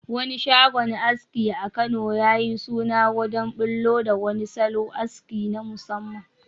Wani shagon aski a Kano ya yi suna wajen bullo da wani salon aski na musamman